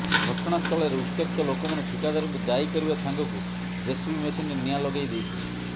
ଘଟଣା ସ୍ଥଳରେ ଉତ୍ତ୍ୟକ୍ତ ଲୋକମାନେ ଠିକାଦାରଙ୍କୁ ଦାୟୀ କରିବା ସାଙ୍ଗକୁ ଜେସିବି ମେସିନରେ ନିଆଁ ଲଗେଇଦେଇଥିଲେ